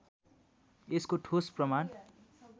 यसको ठोस प्रमाण